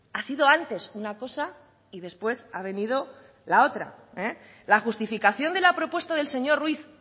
ha sido antes una cosa y después ha venido la otra la justificación de la propuesta del señor ruiz